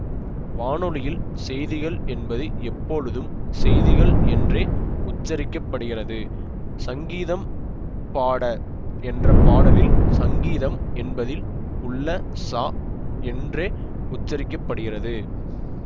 வானொலியில் செய்திகள் என்பது எப்பொழுதும் செய்திகள் என்றே உச்சரிக்க படுகிறது சங்கீதம் பாட என்ற பாடலில் சங்கீதம் என்பதில் உள்ள ச என்றே உச்சரிக்க படுகிறது